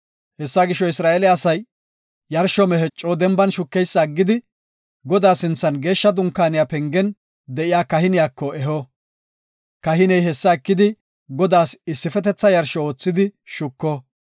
Hessa gisho, Isra7eele asay yarsho mehe coo denban shukeysa aggidi, Godaa sinthan Geeshsha Dunkaaniya pengen de7iya kahiniyako eho. Kahiney hessa ekidi, Godaas issifetetha yarsho oothidi shuko.